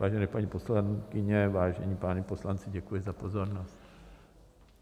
Vážené paní poslankyně, vážení páni poslanci, děkuji za pozornost.